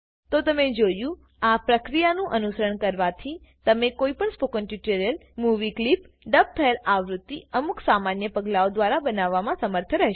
તો તમે જોયુંઆ પ્રક્રિયાનું અનુસરણ કરવાથીતમે કોઈ પણ spoken tutorial movie clip dub થયેલ આવૃત્તિઅમુક સામાન્ય પગલાઓ દ્વારા બનાવવા માં સમર્થ રહેશો